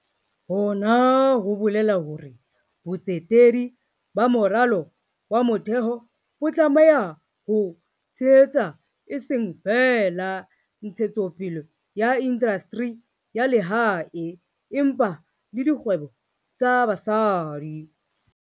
Hona ho bolela hore botsetedi ba moralo wa motheo bo tlameha ho tshehetsa eseng feela ntshetsopele ya indastri ya lehae, empa le dikgwebo tsa basadi.